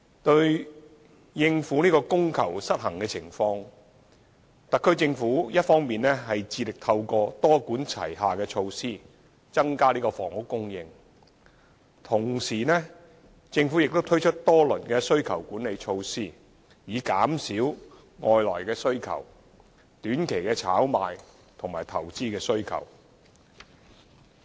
為應對供求失衡的情況，特區政府一方面致力透過多管齊下措施增加房屋供應；同時，政府亦推出多輪需求管理措施，以減少外來需求、短期炒賣需求和投資需求。